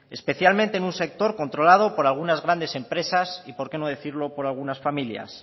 especialmente en un sector controlado por algunas grandes empresas y por qué no decirlo por algunas familias